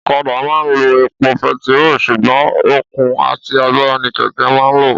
Ọ̀kadà má ń lo epo pẹtiro sùgbón okun àti agbára ní kẹ̀kẹ́ má ń lo